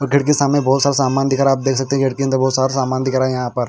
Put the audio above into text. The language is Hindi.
हॉटेल के सामने बोहोत सारा सामान दिख रहा है आप देख सकते है बोहोत सारा सामान दिख रहा है यहाँ पर.